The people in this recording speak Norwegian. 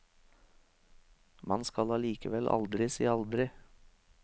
Man skal allikevel aldri si aldri.